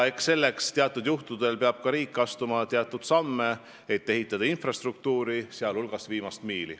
Eks selleks peab ka riik astuma teatud samme, et ehitada infrastruktuuri, sh viimast miili.